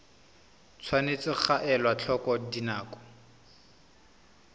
tshwanetse ga elwa tlhoko dinako